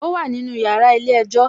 Ó wà nínú yàrá ilé-ẹjọ́